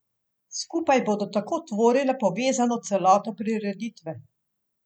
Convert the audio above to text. Skupaj bodo tako tvorile povezano celoto prireditve.